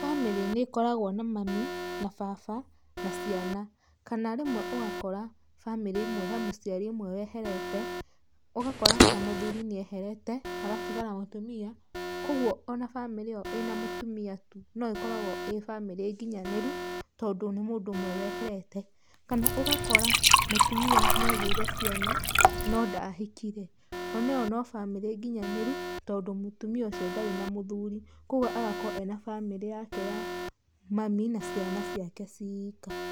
Bamĩrĩ nĩ ĩkoragwo na mami na baba na ciana. Kana rĩmwe ũgakora bamĩrĩ imwe he mũciari ũmwe weherete, ũgakora ta mũthuri nĩ eherete hagatigara mũtumia, kwogwo ona bamĩrĩ ĩyo ĩna mũtumia tu no ĩkoragwo ĩ bamĩrĩ nginyanĩru tondũ nĩ mũndũ ũmwe weherete. Kana ũgakora mũtumia nĩ agĩire ciana no ndahikire, oneyo no bamĩrĩ nginyanĩru tondũ mũtumia ũcio ndarĩ na mũthuri, kwoguo agakorwo arĩ na bamĩrĩ yake ya mami na ciana ciake ciika.